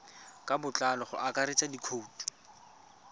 ka botlalo go akaretsa dikhoutu